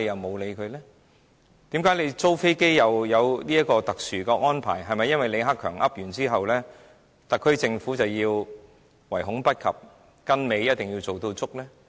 為何租飛機可以獲得特殊安排，是否因為李克強說完之後，特區政府便要唯恐不及的跟尾，樣樣做足呢？